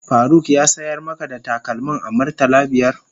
Faruk ya sayar maka da takalmin a murtala biyar?